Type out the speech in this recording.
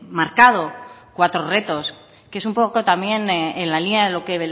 marcado cuatro retos que es un poco también en la línea de lo que